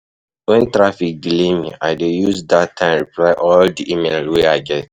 Wen traffic delay me, I dey use dat time reply all di email wey I get.